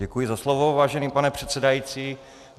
Děkuji za slovo, vážený pane předsedající.